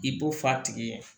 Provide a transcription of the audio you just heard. I b'o fɔ f'a tigi ye